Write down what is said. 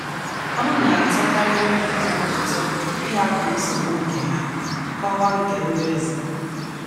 Ọ na - atọkarị ndị mmadụ ụtọ ịhapụ nsogbu nke ha kọwa nke ndị ọzọ. ”